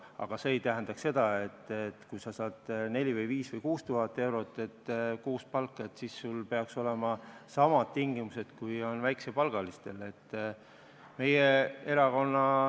Aga see ei tähenda seda, et kui sa saad 4000, 5000 või 6000 eurot kuus palka, siis sul peaks olema samad tingimused, kui on väikesepalgalistel.